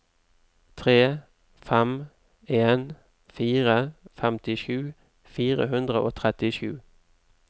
tre fem en fire femtisju fire hundre og trettisju